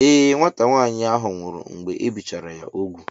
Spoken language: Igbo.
Ee, nwata nwaanyị ahụ nwụrụ mgbe ebichara ya ugwu.